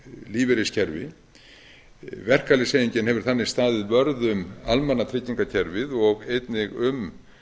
lífeyriskerfi verkalýðshreyfingin hefur þannig staðið vörð um almannatryggingakerfið og einnig um